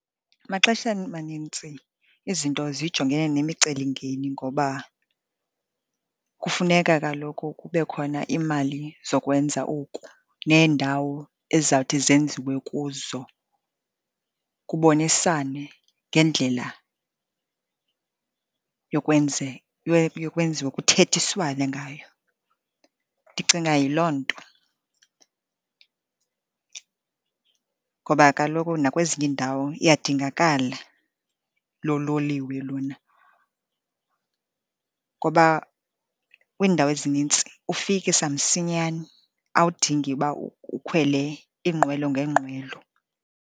Maxesheni amanintsi izinto zijongene nemicelimngeni ngoba kufuneka kaloku kube khona imali zokwenza oku neendawo ezizawuthi zenziwe kuzo, kubonisane ngendlela yokwenziwa, kuthethiswane ngayo. Ndicinga yiloo nto, ngoba kaloku nakwezinye iindawo iyadingakala loo loliwe lona, ngoba kwiindawo ezinintsi ufikisa msinyane, awudingi uba ukhwele iinqwelo ngeenqwelo.